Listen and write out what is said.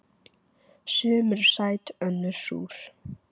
Sum eru sæt önnur súr.